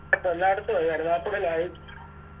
ഇതിപ്പല്ലടത്തുവായി കരുനാഗപ്പള്ളിലായി